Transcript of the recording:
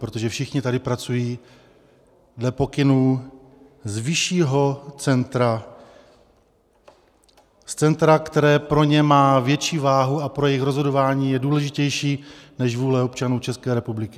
Protože všichni tady pracují dle pokynů z vyššího centra, z centra, které pro ně má větší váhu a pro jejich rozhodování je důležitější než vůle občanů České republiky.